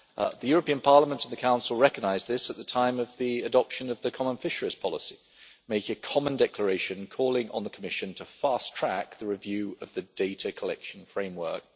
The European Parliament and the Council recognised this at the time of the adoption of the common fisheries policy, making a common declaration calling on the Commission to fast track the review of the data collection framework.